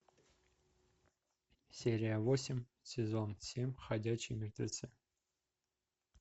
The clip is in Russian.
серия восемь сезон семь ходячие мертвецы